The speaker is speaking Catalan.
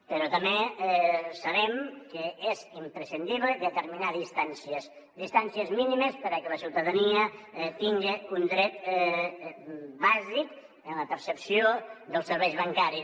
però també sabem que és imprescindible determinar distàncies distàncies mínimes perquè la ciutadania tinga un dret bàsic en la percepció dels serveis bancaris